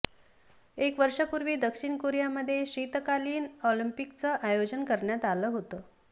एक वर्षापूर्वी दक्षिण कोरियामध्ये शीतकालीन ऑलिम्पिकचं आयोजन करण्यात आलं होतं